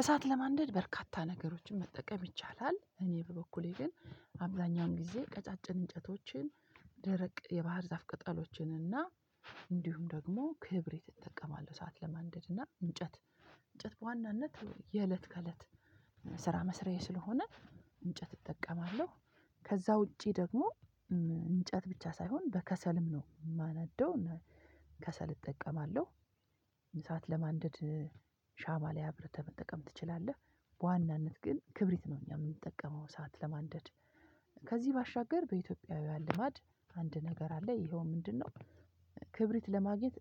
እሳት ለማንደድ በርካታ ነገሮችን መጠቀም ይቻላል። እኔ በበኩሌ ግን አብዛኛውን ጊዜ ቀጫጭን እንጨቶችን ደረቅ የባህር ዛፍ ቅጠሎችን እና እንዲሁም ደግሞ ክብሪት እጠቀማለሁ። እሳት ለማንደድ እና እንጨት እንጨት በዋናነት የእለት ከእለት ስራ መስራዬ ስለሆነ እንጨት እጠቀማለሁ። ከዛ ውጪ ደግሞ እንጨት ብቻ ሳይሆን በከሰልም ነው የማነደው ከሰል እጠቀማለሁ። እሳት ለማንደድ ሻማ ላይ አብርተህ መጠቀም ትችላለህ። በዋናነት ግን ክብሪት ነው እኛ የምንጠቀመው እሳት ለማንደድ። ከዚህ ባሻገር በኢትዮጵያውያን ልማድ አንድ ነገር አለ ይሄው ምንድነው? ክብሪት ለማግኘት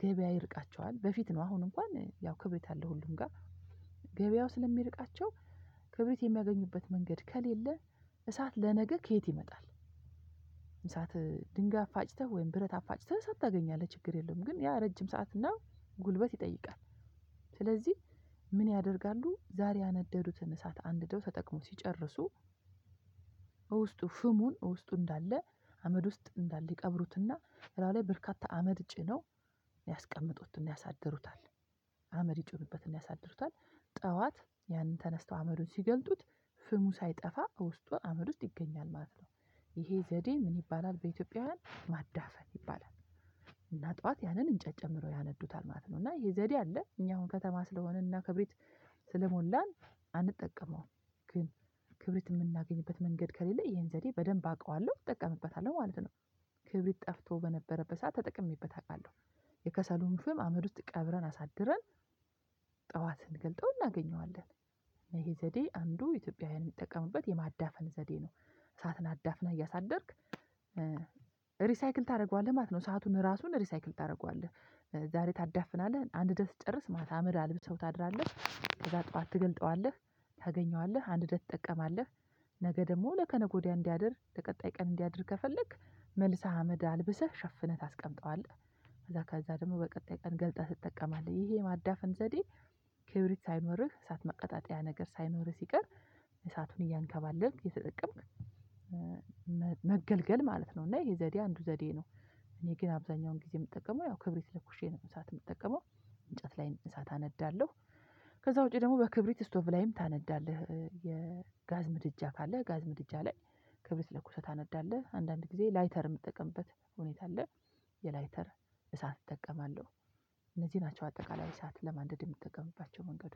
ገበያ ይርቃቸዋል በፊት ነው አሁን እንኳን ያው ክብሪት አለ። ሁሉም ጋር ገበያው ስለሚርቃቸው ክብሪት የሚያገኙበት መንገድ ከሌለ እሳት ለነገ ከየት ይመጣል? እሳት ድንጋይ አፋጭተህ ወይም ብረት አፋጭተህ ሰዓት ታገኛለህ ችግር የለም ግን ያ ረጅም ሰዓት እና ጉልበት ይጠይቃል። ስለዚህ ምን ያደርጋሉ ዛሬ ያነደዱትን እሳት አንድደው ተጠቅመው ሲጨርሱ። ውስጡ ፍሙን ውስጡ እንዳለ አመድ ውስጥ እንዳለ ይቀብሩትና ለውጥ በርካታ አመድ ጭነው ያስቀምጡትና ያሳድሩታል አመድ ይጭኑበትና ያሳድሩታል ጠዋት ያንን ተነስተው አመዱን ሲገልጡት ፍሙ ሳይጠፋ ውስጡን አመድ ውስጥ ይገኛል ማለት ነው። ይሄ ዘዴ ምን ይባላል በኢትዮጵያውያን ማዳፈን ይባላል? እና ጠዋት ያንን እንጨት ጨምሮ ያነዱታል ማለት ነው እና ይሄ ዘዴ አለ። እኛ አሁን ከተማ ስለሆነና ክብሪት ስለሞላን አንጠቀመውም። ግን ክብሪት የምናገኝበት መንገድ ከሌለ ይሄን ዘዴ በደንብ አውቀዋለሁ እጠቀምበታለሁ ማለት ነው። ክብሪት ጠፍቶ በነበረበት ሰዓት ተጠቅሜበት አውቃለሁ። የከሰሉን ፍም አመድ ውስጥ ቀብረን አሳድረን ጠዋትን ስንገልጠው እናገኘዋለን ይሄ ዘዴ አንዱ ኢትዮጵያውያን የሚጠቀምበት የማዳፈን ዘዴ ነው። ሳትን አዳፍነህ እያሳደርክ ሪሳይክል ታደርገዋለህ ማለት ነው። እሳቱን ራሱን ሪሳይክል ታደርገዋለህ። ዛሬ ታዳፍናለህ አንድ ደስ ትጨርስ ማታ ምላ ልብስ ሰው ታድራለህ ከዛ ጠዋት ትገልጠዋለህ። ታገኘዋለህ አንድደህ ትጠቀማለህ። ነገ ደግሞ ለከነገ ወዲያ እንዲያድር ለቀጣይ ቀን እንዲያድር ከፈለክ መልሰህ አመድ አልብሰህ ሸፍነህ ታስቀምጠዋለህ። ከዛ ከዛ ደግሞ በቀጣይ ቀን ገልጠህ ትጠቀማለት ይሄ ማዳፈን ዘዴ። ክብሪት ሳይኖርህ እሳት መቀጣጠያ ነገር ሳይኖርህ ሲቀር እሳቱን እያንከባለልክ የተጠቀምክ መገልገል ማለት ነው። እና ይሄ ዘዴ አንዱ ዘዴ ነው። እኔ ግን አብዛኛውን ጊዜ የምጠቀመው ያው ክብሪት ለኩሼ ነው እሳት የምጠቀመው። እንጨት ላይ እሳት አነዳለሁ ከዛ ውጪ ደግሞ በክብሪት ስቶቭ ላይም ታነዳለህ። የጋዝ ምድጃ ካለ ጋዝ ምድጃ ላይ ክብረ ስለኩሰህ ታነዳለህ አንዳንድ ጊዜ ላይተር የምትጠቀምበት ሁኔታ አለ። የላይተር እሳት እጠቀማለሁ። እነዚህ ናቸው አጠቃላይ እሳት ለማንደድ የምትጠቀምባቸው መንገዶች